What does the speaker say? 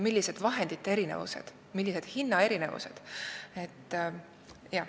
Millised vahendite erinevused, millised hinnaerinevused.